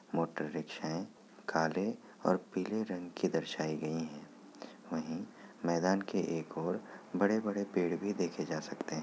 Motor रिक्शाएं काले और पीले रंग की दर्शाई गयी हैं। वही मैदान के एक ओर बड़े- बड़े पेड़ भी देखे जा सकते हैं।